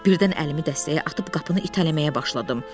Birdən əlimi dəstəyə atıb qapını itələməyə başladım.